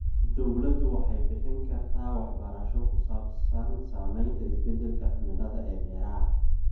Dawladdu waxay bixin kartaa waxbarasho ku saabsan saamaynta isbeddelka cimilada ee beeraha.